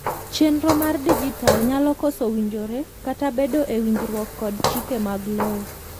chenro mar dijital nyalo koso winjore kata bedo e winjruok kod chike mag lowo